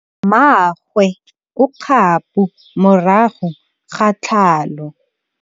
Mmagwe o kgapô morago ga tlhalô.